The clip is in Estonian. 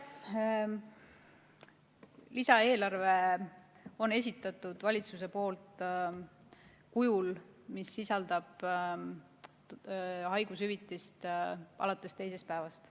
Lisaeelarve on esitatud valitsuse poolt kujul, mis sisaldab haigushüvitist alates teisest päevast.